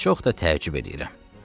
Və çox da təəccüb edirəm.